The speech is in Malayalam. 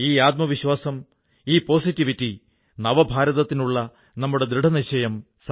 എന്നാൽ ഒരുപക്ഷേ പുതിയ തലമുറയിലെ യുവാക്കൾക്ക് ഞാണിൻമേൽകളി അത്രയ്ക്ക് പരിചയമില്ല